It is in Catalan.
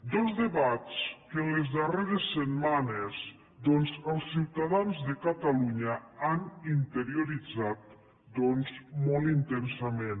dos debats que en les darreres setmanes doncs els ciutadans de catalunya han interioritzat molt intensament